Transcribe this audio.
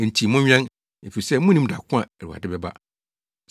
“Enti monwɛn, efisɛ munnim da ko a Awurade bɛba.